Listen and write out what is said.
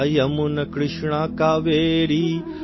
Ganga Yamuna Krishna Kaveri